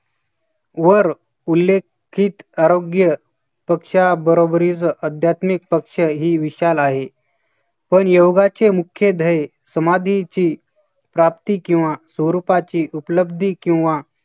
वर उल्लेखित आरोग्य पक्षाबरोबरच अध्यात्मिक पक्ष ही विशाल आहे. पण योगाचे मुख्य ध्यय समाधीची प्राप्ती किंवा स्वरूपाची उपलब्धी किंवा